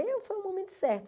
Aí eu foi o momento certo.